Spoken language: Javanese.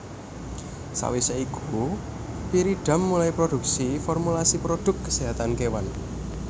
Sawisé iku Pyridam mulai produksi formulasi produk keséhatan kewan